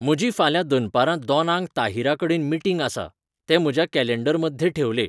म्हजी फाल्यां दनपारां दोनांक ताहीराकडेन मीटिंग आसा. ते माझ्या कॅलेंडरमध्ये ठेवले